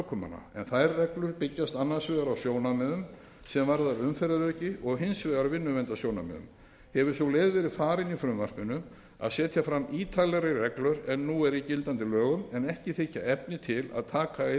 en þær byggjast annars vegar á sjónarmiðum sem varða umferðaröryggi og hins vegar vinnuverndarsjónarmiðum hefur sú leið verið farin í frumvarpinu að setja fram ítarlegri reglur en nú eru í gildandi lögum en ekki þykja efni til að taka inn